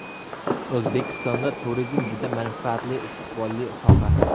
O‘zbekistonda turizm juda manfaatli, istiqbolli soha.